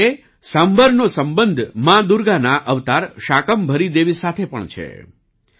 આવી જ રીતે સાંભર નો સંબંધ માં દુર્ગાના અવતાર શાકમ્ભરી દેવી સાથે પણ છે